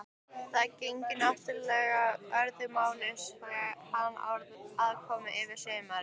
Það gegnir náttúrlega öðru máli sé hann aðkominn yfir sumarið.